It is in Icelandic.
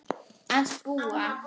Að búa?